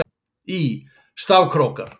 Í: Stafkrókar.